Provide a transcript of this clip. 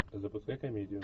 запускай комедию